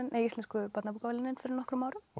Íslensku barnabókaverðlaunin fyrir nokkrum árum og